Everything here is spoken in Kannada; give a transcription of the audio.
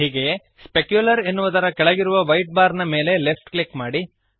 ಹೀಗೆಯೇ ಸ್ಪೆಕ್ಯುಲರ್ ಎನ್ನುವುದರ ಕೆಳಗಿರುವ ವೈಟ್ ಬಾರ್ ನ ಮೇಲೆ ಲೆಫ್ಟ್ ಕ್ಲಿಕ್ ಮಾಡಿರಿ